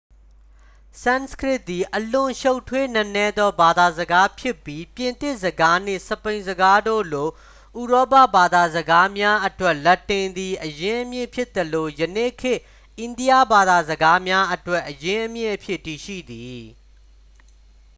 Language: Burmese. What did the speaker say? ဆန်စကရစ်သည် အလွန်ရှုပ်ထွေးနက်နဲသော ဘာသာစကားဖြစ်ပြီး ပြင်သစ်စကားနှင့် စပိန်စကားတို့လို ဥရောပဘာသာစကားများအတွက် လက်တင်သည် အရင်းအမြစ်ဖြစ်သလို ယနေ့ခေတ် အိန္ဒိယဘာသာစကားများအတွက် အရင်းအမြစ်အဖြစ် တည်ရှိသည်